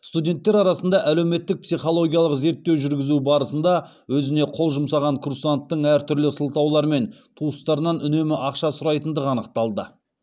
студенттер арасында әлеуметтік психологиялық зерттеу жүргізу барысында өзіне қол жұмсаған курсанттың әртүрлі сылтаулармен туыстарынан үнемі ақша сұрайтындығы анықталды